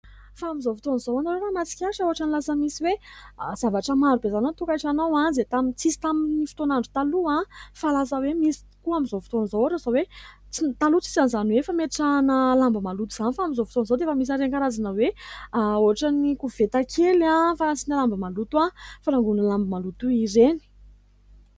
Fa amin'izao fotoana izao hoy aho, ianareo raha mahatsikaritra ohatran' ny lasa misy hoe zavatra marobe izany ao an- tokantrano ao, izay tsy nisy tamin'ny fotoan' andro taloha fa lasa hoe misy tokoa amin'izao fotoan'izao. Ohatra hoe taloha tsy nisy an' izany hoe fametrahana lamba maloto izany. Fa amin'izao fotoana izao dia efa misy ireny karazana hoe ohatran' ny koveta kely fanasiana lamba maloto, fanangonana lamba maloto ireny.